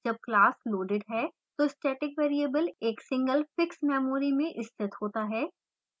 जब class loaded है तो static variable एक single fixed memory में स्थित होता है